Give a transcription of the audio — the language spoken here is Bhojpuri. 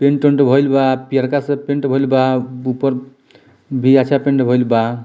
पेंट वेंट होइल बा पियरका से पेंट होईल बा ऊपर पेंट होइल बा।